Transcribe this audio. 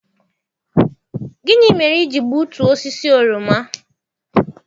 Gịnị mere i ji gbutuo osisi oroma?